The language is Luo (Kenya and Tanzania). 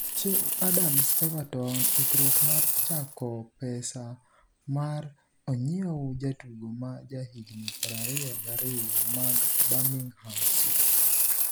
Che Adams Everton ikruok mar chako pesa mar onyiew jatugo ma ja higni 22 mag Birmingham City.